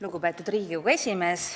Lugupeetud Riigikogu esimees!